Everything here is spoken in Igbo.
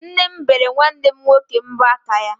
Nne m bere nwanne m nwoke mbọ aka ya.